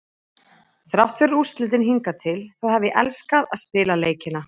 Þrátt fyrir úrslitin hingað til þá hef ég elskað að spila leikina.